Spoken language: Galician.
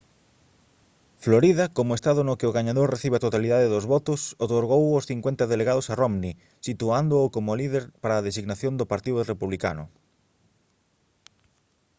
florida como estado no que o gañador recibe a totalidade dos votos outorgou os cincuenta delegados a romney situándoo como líder para a designación do partido republicano